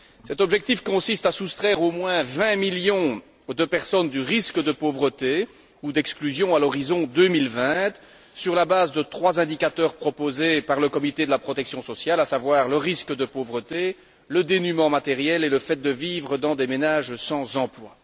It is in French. Cet objectif consiste à soustraire au moins 20 millions de personnes au risque de pauvreté ou d'exclusion à l'horizon 2020 sur la base de trois indicateurs proposés par le comité de la protection sociale, à savoir le risque de pauvreté, le dénuement matériel et le fait de vivre dans des ménages sans emploi.